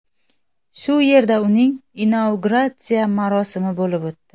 Shu yerda uning inauguratsiya marosimi bo‘lib o‘tdi.